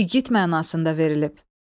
İgid mənasında verilib.